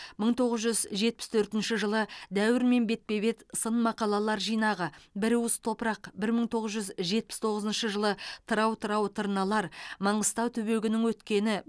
мың тоғыз жүз жетпіс төртінші жылы дәуірмен бетпе бет сын мақалалар жинағы бір уыс топырақ бір мың тоғыз жүз жетпіс тоғызыншы жылы тырау тырау тырналар маңғыстау түбегінің өткені